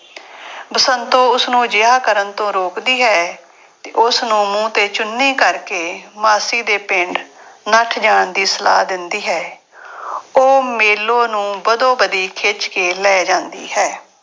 ਬਸੰਤੋ ਉਸਨੂੰ ਅਜਿਹਾ ਕਰਨ ਤੋਂ ਰੋਕਦੀ ਹੈ ਤੇ ਉਸਨੂੰ ਮੂੰਹ ਤੇ ਚੁੰਨੀ ਕਰਕੇ ਮਾਸੀ ਦੇ ਪਿੰਡ ਨੱਠ ਜਾਣ ਦੀ ਸਲਾਹ ਦਿੰਦੀ ਹੈ। ਉਹ ਮੇਲੋ ਨੂੰ ਬਦੋ-ਬਦੀ ਖਿੱਚ ਕੇ ਲੈ ਜਾਂਦੀ ਹੈ।